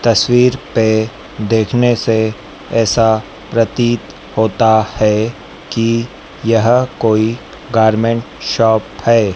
तस्वीर पे देखने से ऐसा प्रतीत होता है कि यह कोई गारमेंट शॉप है।